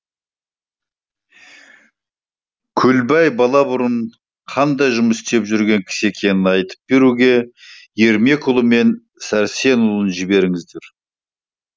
көлбай бала бұрын қандай жұмыс істеп жүрген кісі екенін айтып беруге ермекұлы мен сәрсенұлын жіберіңіздер